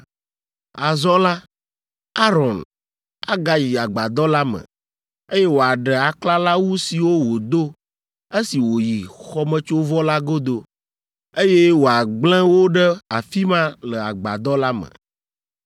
“Azɔ la, Aron agayi Agbadɔ la me, eye wòaɖe aklalawu siwo wòdo esi wòyi xɔmetsovɔ la godo, eye wòagblẽ wo ɖe afi ma le Agbadɔ la me.